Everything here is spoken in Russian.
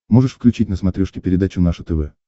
можешь включить на смотрешке передачу наше тв